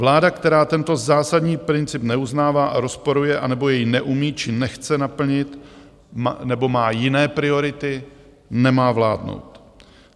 Vláda, která tento zásadní princip neuznává a rozporuje, anebo jej neumí či nechce naplnit, nebo má jiné priority, nemá vládnout.